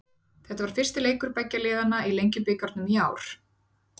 Þetta var fyrsti leikur beggja liðanna í Lengjubikarnum í ár.